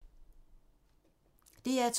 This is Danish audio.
DR2